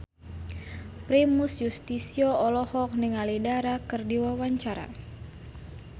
Primus Yustisio olohok ningali Dara keur diwawancara